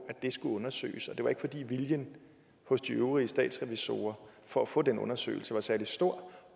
at det skulle undersøges det var ikke fordi viljen hos de øvrige statsrevisorer for at få den undersøgelse var særlig stor